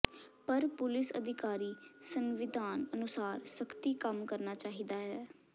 ਪਰ ਪੁਲਿਸ ਅਧਿਕਾਰੀ ਸੰਵਿਧਾਨ ਅਨੁਸਾਰ ਸਖਤੀ ਕੰਮ ਕਰਨਾ ਚਾਹੀਦਾ ਹੈ